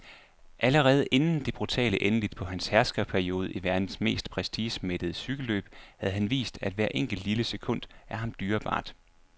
Allerede inden det brutale endeligt på hans herskerperiode i verdens mest prestigemættede cykelløb havde han vist, at hvert enkelt, lille sekund er ham dyrebart.